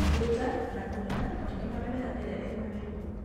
Kũruta na kũniina matunda na mĩmera ĩrĩa ĩrĩ na mĩrimũ